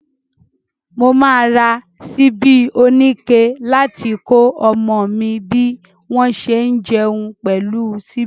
Mo máa ra ṣíbí oníke láti kọ́ ọmọ mi bí wọ́n ṣe ń jẹun pẹ̀lú ṣíbí.